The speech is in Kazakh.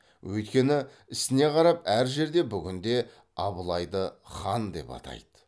өйткені ісіне қарап әр жерде бүгінде абылайды хан деп атайды